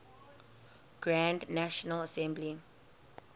grand national assembly